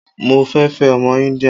Mo fẹ́ fẹ́ ọmọ Íńdíà.